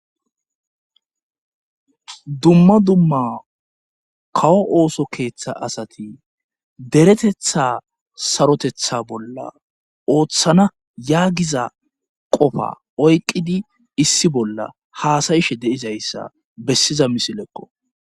dumma dumma kawo ooso keeththa asati deretetha sarotetha bolla ooththana yaagiza qofa oyqqidi issi bolla haasayishe deizayssa bessiza misilekko